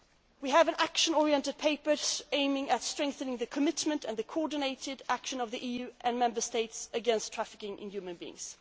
We have an action oriented paper aimed at strengthening the commitment and the coordinated action of the EU and Member States against trafficking in human beings.